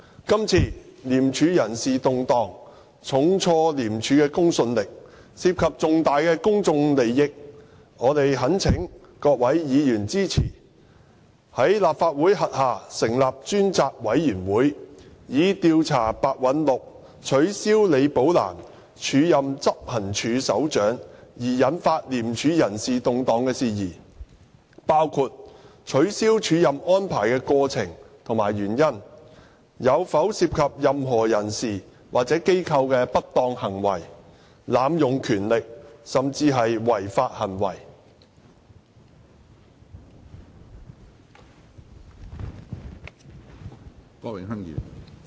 今次廉署人事動盪重挫廉署的公信力，涉及重大公眾利益，我們懇請各位議員支持，在立法會轄下成立專責委員會，以調查白韞六取消李寶蘭署任執行處首長而引發廉署人事動盪的事宜，包括取消署任安排的過程及原因，有否涉及任何人士或機構的不當行為、濫用權力、甚至違法行為。